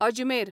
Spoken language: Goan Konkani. अजमेर